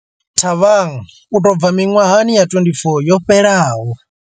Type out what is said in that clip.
Thabang u tou bva miṅwahani ya 24 yo fhelaho.